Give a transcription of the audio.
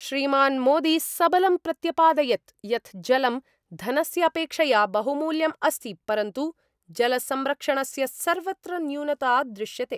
श्रीमान् मोदी सबलं प्रत्यपादयत् यत् जलं धनस्य अपेक्षया बहुमूल्यम् अस्ति परन्तु जलसंरक्षणस्य सर्वत्र न्यूनता दृश्यते।